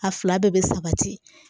A fila bɛɛ bɛ sabati